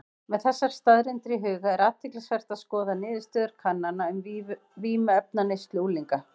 Með þessar staðreyndir í huga er athyglisvert að skoða niðurstöður kannana um vímuefnaneyslu unglinga.